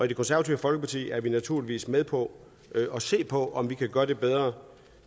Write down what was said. det konservative folkeparti er vi naturligvis med på at se på om vi kan gøre det bedre